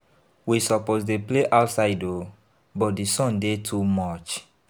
We suppose dey play outside o but di sun dey too much.